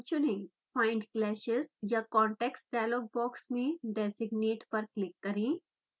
find clashes/contacts dialog box में designate पर click करें